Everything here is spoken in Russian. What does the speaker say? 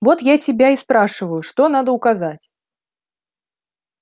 вот я тебя и спрашиваю что надо указать